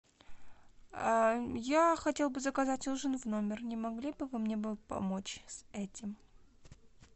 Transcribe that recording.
я хотела бы заказать ужин в номер не могли бы вы мне бы помочь с этим